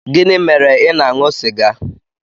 Gịnị mere ị na-aṅụ sịga?